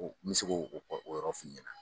O n mɛ se ko o o yɔrɔ f'i ɲɛna.